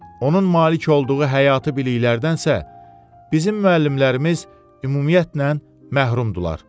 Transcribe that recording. Onun malik olduğu həyati biliklərdənsə bizim müəllimlərimiz ümumiyyətlə məhrumdular.